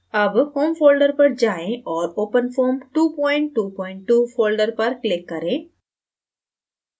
अब home folder पर जाएँ और openfoam222 folder पर click करें